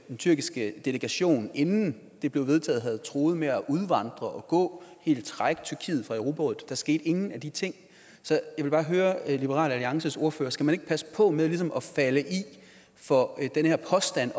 tyrkiske delegation inden det blev vedtaget havde truet med at udvandre og gå helt trække tyrkiet fra europarådet der skete ingen af de ting så jeg vil bare høre liberal alliances ordfører skal man ikke passe på med ligesom at falde for den her påstand